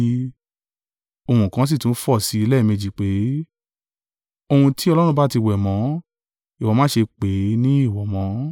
Ohùn kan sì tún fọ̀ sí i lẹ́ẹ̀méjì pé, “Ohun tí Ọlọ́run bá ti wẹ̀mọ́, ìwọ má ṣe pè é ní èèwọ̀ mọ́.”